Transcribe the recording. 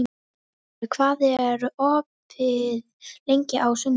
Bótólfur, hvað er opið lengi á sunnudaginn?